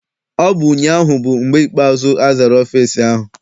Ọ bụ ụnyaahụ bụ mgbe ikpeazụ azara ọfịịsi ahụ.